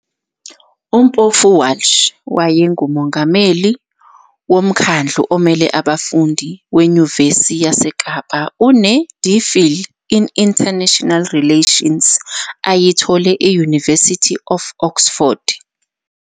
UMpofu-Walsh wayengumongameli woMkhandlu Omele Abafundi Wenyuvesi YaseKapa Une-DPhil in International Relations ayithole e-University of Oxford.